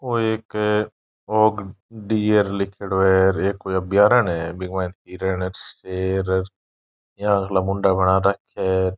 ओ एक hog deer लीखेड़ो है यो कोई अभ्यारण्य है बीके मायने हिरण शेर बिया का मुंडा बना राखा है।